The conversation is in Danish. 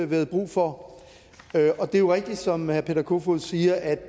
været brug for det er jo rigtigt som herre peter kofod siger at